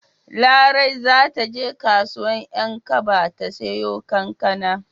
Larai za ta je kasuwar 'Yankaba ta siyo kankana.